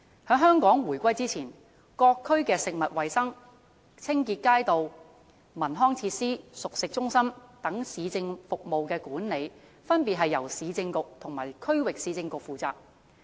在香港回歸以前，各區的食物衞生、街道清潔、文康設施和熟食中心等市政服務的管理，分別由市政局和區域市政局負責。